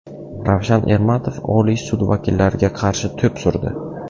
Ravshan Ermatov Oliy sud vakillariga qarshi to‘p surdi .